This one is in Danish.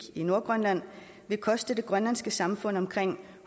i nordgrønland vil koste det grønlandske samfund omkring